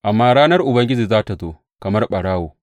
Amma ranar Ubangiji za tă zo kamar ɓarawo.